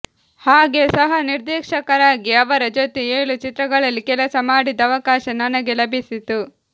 ಹಾಗೆ ಸಹ ನಿರ್ದೇಶಕರಾಗಿ ಅವರ ಜೊತೆ ಏಳು ಚಿತ್ರಗಳಲ್ಲಿ ಕೆಲಸ ಮಾಡಿದ ಅವಕಾಶ ನನಗೆ ಲಭಿಸಿತು